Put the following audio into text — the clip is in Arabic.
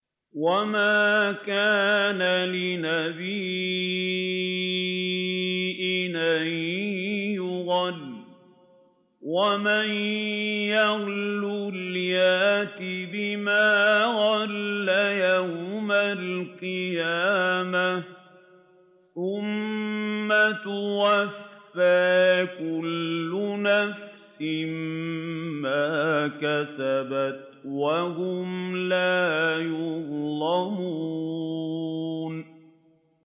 وَمَا كَانَ لِنَبِيٍّ أَن يَغُلَّ ۚ وَمَن يَغْلُلْ يَأْتِ بِمَا غَلَّ يَوْمَ الْقِيَامَةِ ۚ ثُمَّ تُوَفَّىٰ كُلُّ نَفْسٍ مَّا كَسَبَتْ وَهُمْ لَا يُظْلَمُونَ